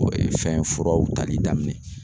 O ye fɛn furaw tali daminɛ